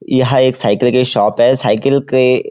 यह एक साइकिल की शॉप है साइकिल के --